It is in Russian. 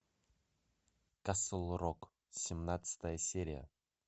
касл рок семнадцатая серия